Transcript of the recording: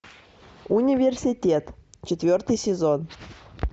университет четвертый сезон